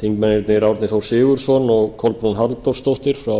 þingmennirnir árni þór sigurðsson og kolbrún halldórsdóttir frá